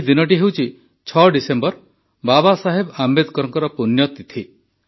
ଏହି ଦିନଟି ହେଉଛି ୬ ଡିସେମ୍ବର ବାବା ସାହେବ ଆମ୍ବେଦକରଙ୍କ ପୁଣ୍ୟତିଥି